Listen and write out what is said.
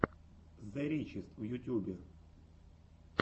зе ричест в ютьюбе